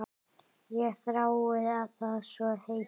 Ég þrái það svo heitt.